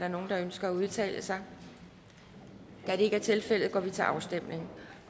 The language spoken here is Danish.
der nogen der ønsker at udtale sig da det ikke er tilfældet går vi til afstemning